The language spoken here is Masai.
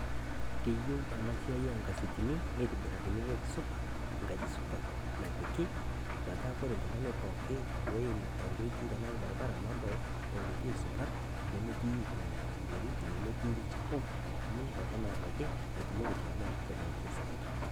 keyieu enaa siai onkasetini nitobirakini wueji supat enkaji supat napiki metaa wore ookin tungani oim enkoitoi nedol tenkoitoi supat nemetii enterit nemetii ilchafu